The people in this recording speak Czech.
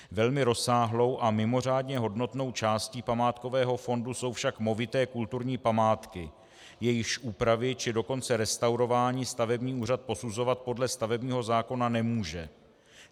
Velmi rozsáhlou a mimořádně hodnotnou částí památkového fondu jsou však movité kulturní památky, jejichž úpravy, či dokonce restaurování stavební úřad posuzovat podle stavebního zákona nemůže.